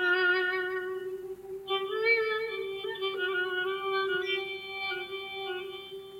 ناولها